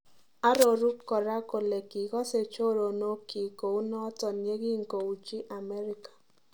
Aroru kora kole kikose choronok kyik kounoton yekingouchi America